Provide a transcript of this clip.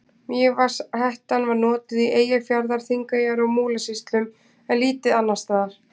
Mývatnshettan var notuð í Eyjafjarðar-, Þingeyjar- og Múlasýslum en lítið annars staðar.